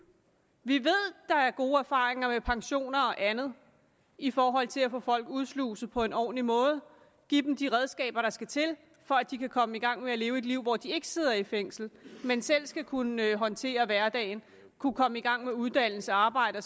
vi ved der er gode erfaringer med pensioner og andet i forhold til at få folk udsluset på en ordentlig måde og give dem de redskaber der skal til for at de kan komme i gang med at leve et liv hvor de ikke sidder i fængsel men selv skal kunne håndtere hverdagen kunne komme i gang med uddannelse arbejde